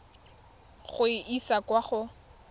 go e isa kwa go